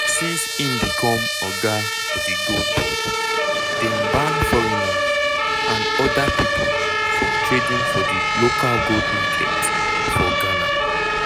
since im become oga for di gold board dem ban foreigners and oda pipo from trading for di local gold market for ghana.